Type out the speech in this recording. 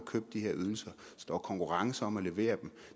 og konkurrence om at levere dem